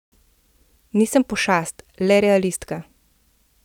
Nisem pošast, le realistka.